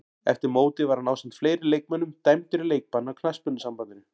Eftir mótið var hann ásamt fleiri leikmönnum dæmdur í leikbann af knattspyrnusambandinu.